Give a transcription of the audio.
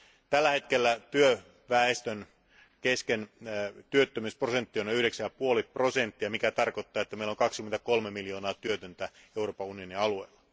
Tällä hetkellä työväestön työttömyysprosentti on 9,5 prosenttia, mikä tarkoittaa, että meillä on 23 miljoonaa työtöntä Euroopan unionin alueella.